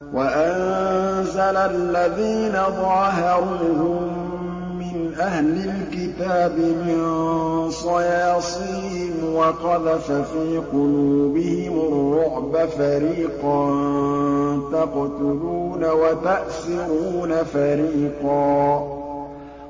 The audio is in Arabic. وَأَنزَلَ الَّذِينَ ظَاهَرُوهُم مِّنْ أَهْلِ الْكِتَابِ مِن صَيَاصِيهِمْ وَقَذَفَ فِي قُلُوبِهِمُ الرُّعْبَ فَرِيقًا تَقْتُلُونَ وَتَأْسِرُونَ فَرِيقًا